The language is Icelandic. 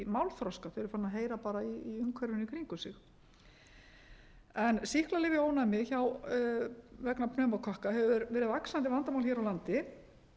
málþroska þau eru fara að heyra bara í umhverfinu í kringum sig sýklalyfjaónæmi vegna pneumókokka hefur verið vaxandi vandamál hér á landi